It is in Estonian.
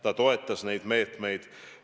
Ta toetas neid meetmeid.